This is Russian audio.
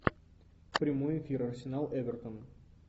прямой эфир арсенал эвертон